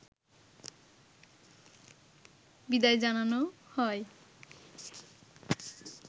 বিদায় জানানো হয়